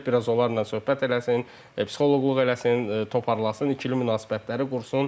gəlib biraz onlarla söhbət eləsin, psixoloqluq eləsin, toparlasın, ikili münasibətləri qursun.